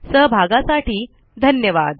सहभागासाठी धन्यवाद